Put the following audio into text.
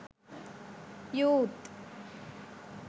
youth